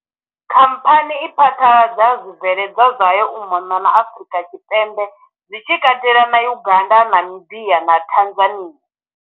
Khamphani i phaḓaladza zwibveledzwa zwayo u mona na Afurika Tshipembe zwi tshi katela na Uganda, Namibia, na Tanzania.